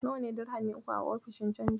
Nawa ne dirhami uku a ofishin canji?